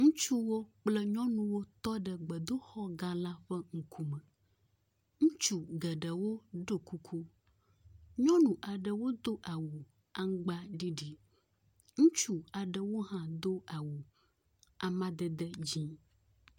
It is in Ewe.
Ŋutsuwo kple nyɔnuwo tɔ ɖe gbedoxɔ gã la ƒe ŋkume, ŋutsu geɖewo ɖɔ kuku. Nyɔnu aɖewo do awu aŋugbaɖiɖi. Ŋutsu aɖewo hã do awu amadede dzɛ̃.